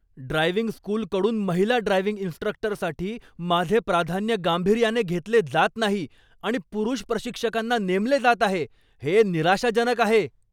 Driving स्कूलकडून महिला driving इन्स्ट्रक्टरसाठी माझे प्राधान्य गांभीर्याने घेतले जात नाही आणि पुरुष प्रशिक्षकांना नेमले जात आहे, हे निराशाजनक आहे.